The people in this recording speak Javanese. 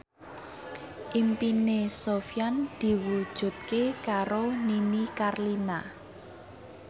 impine Sofyan diwujudke karo Nini Carlina